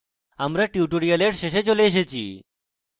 আমরা tutorial শেষে চলে এসেছি